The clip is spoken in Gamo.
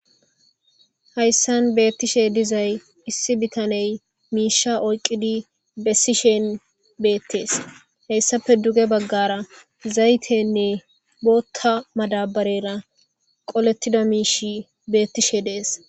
hayssan beettishe dizay issi bitaney miisha oyqqidi bessishen beettees heyssape duge baggara zaytenne bootta madabarera qolettida miish beettishe dees